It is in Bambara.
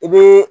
I bɛ